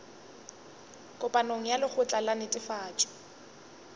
kopanong ya lekgotla la netefatšo